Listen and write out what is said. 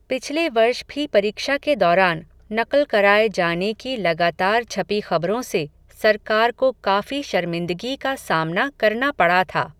पिछले वर्ष भी परीक्षा के दौरान, नक़ल कराए जाने की लगातार छपी ख़बरों से, सरकार को काफ़ी शर्मिंदगी का सामना करना पड़ा था.